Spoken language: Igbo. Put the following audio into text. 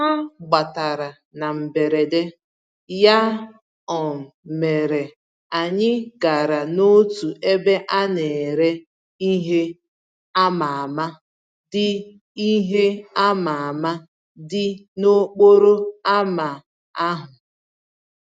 Ha gbabatara na mberede, ya um mere anyị gara n'otu ebe a nere ìhè ama-ama, dị ìhè ama-ama, dị n'okporo ámá ahụ.